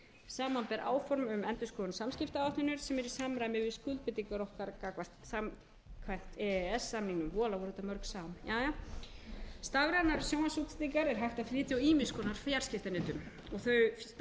samanber áform um endurskoðun samskiptaáætlunar sem eru í samræmi við skuldbindingar okkar samkvæmt e e s samningnum voðalega voru þetta mörg sam stafrænar sjónvarpsútsendingar er hægt að flytja á ýmiss konar fjarskiptanetum þau stafrænu